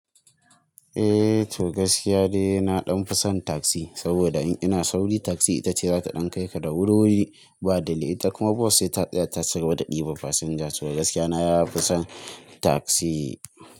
Eh to gaskiya da na ɗan fi son taxi saboda in ina sauri taxi ita ce za ta ɗan kai ka da wuriwuri ba delay. Ita kuma bus sai ta tsaya ta ci gaba da ɗibar fasinja. To gaskiya na yafi son taxi.